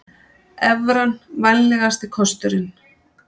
Evran vænlegasti kosturinn